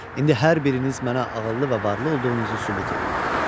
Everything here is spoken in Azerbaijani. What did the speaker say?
İndi hər biriniz mənə ağıllı və varlı olduğunuzu sübut eləyin.